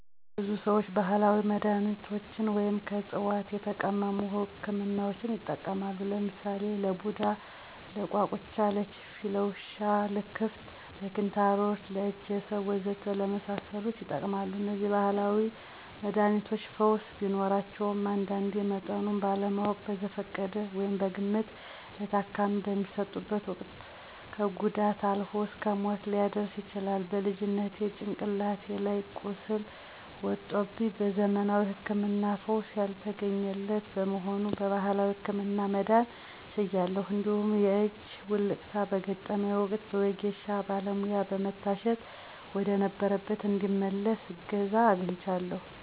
ብዙ ሰዎች ባህላዊ መድሃኒቶችን ወይም ከዕፅዋት የተቀመሙ ህክምናዎችን ይጠቀማሉ። ለምሳሌ ለቡዳ፣ ለቋቁቻ፣ ለችፌ፣ ለውሻ ልክፍት፣ ለኪንታሮት፣ ለእጀሰብ ወዘተ ለመሳሰሉት ይጠቀማሉ። እነዚህ ባህላዊ መድሃኒቶች ፈውስ ቢኖራቸውም አንዳንዴ መጠኑን ባለማወቅ በዘፈቀደ (በግምት) ለታካሚው በሚሰጡበት ወቅት ከጉዳት አልፎ እስከ ሞት ሊያደርስ ይችላል። በልጅነቴ ጭንቅላቴ ላይ ቁስል ወጦብኝ በዘመናዊ ህክምና ፈውስ ያልተገኘለት በመሆኑ በባህላዊው ህክምና መዳን ችያለሁ። እንዲሁም የእጅ ውልቃት በገጠመኝ ወቅት በወጌሻ ባለሙያ በመታሸት ወደነበረበት እንዲመለስ እገዛ አግኝቻለሁ።